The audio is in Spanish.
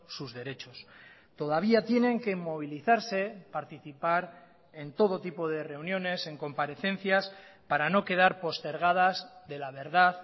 sus derechos todavía tienen que movilizarse participar en todo tipo de reuniones en comparecencias para no quedar postergadas de la verdad